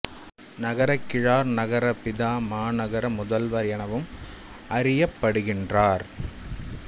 நகரக் கிழார் நகர பிதா மாநகர முதல்வர் எனவும் அறியப்படுகின்றார்